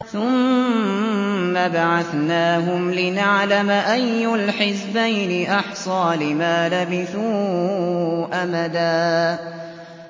ثُمَّ بَعَثْنَاهُمْ لِنَعْلَمَ أَيُّ الْحِزْبَيْنِ أَحْصَىٰ لِمَا لَبِثُوا أَمَدًا